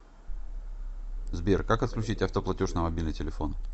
сбер как отключить автоплатеж на мобильный телефон